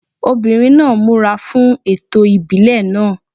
Obìnrin náà múra fún ẹ̀tọ́ ìbílẹ̀ náà.